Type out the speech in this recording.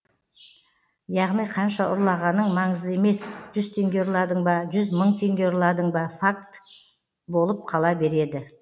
яғни қанша ұрлағаның маңызды емес жүз теңге ұрладың ба жүз мың теңге ұрладың ба факт болып қала береді